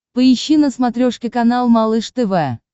поищи на смотрешке канал малыш тв